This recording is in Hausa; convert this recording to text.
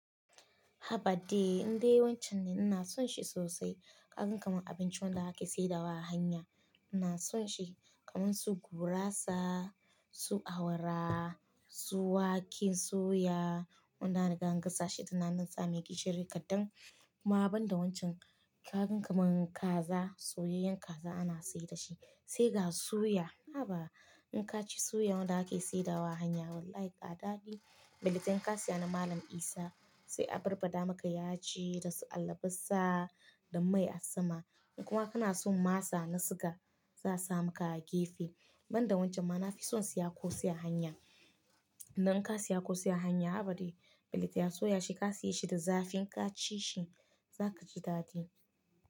Haba dai, inde wancan ina son shi sosai. Kaganka man abinci wanda ake saidawa a hanya. Ina son shi kamar su gurasa, su awara, su wake soya, wannan riga an gasa shi tun nanan tsame gishiri kaɗan. Kuma banda wancan kagan kaman kaza, soyayen kaza ana sayar da shi, sai ga suya. Haba in ka ci suya wanda ake saidawa a hanya wallahi ga ɗaɗi. Belente inka siya na Malam Isa, sai abarba da maka yaji da su albasa da mai asma. In kuma kana son masa na siga, za a sa maka a gefe. Banda wancan ma na fi son siya ƙosai a hanya. Idan ka siya ƙosai a hanya, haba dai belente a ya soya shi ka siya shi da zafi ka ci shi, za ka ji daɗi.